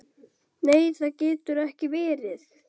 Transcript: Nei það getur ekki verið.